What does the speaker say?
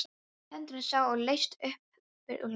Hendurnar sá ég laust upp fyrir úlnlið.